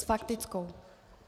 S faktickou.